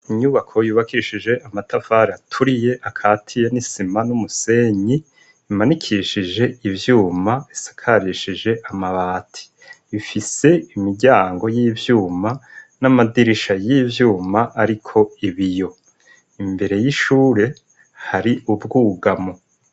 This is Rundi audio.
Inyubako yubakishije amatafari aturiye akatiye n'isima n'umusenyi, bimanikishije ivyuma bisakirishije amabati, ifise imiryango y'ivyuma n'amadirisha y'ivyuma ariko ibiyo, imbere y'ishure hari ubwugamo.